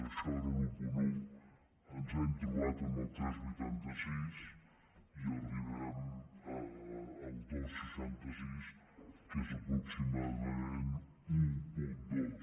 això era l’un coma un ens hem trobat amb el tres coma vuitanta sis i arribem al dos coma seixanta sis que és aproximadament un coma dos